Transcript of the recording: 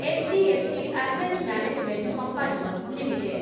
H D F C asset management company limited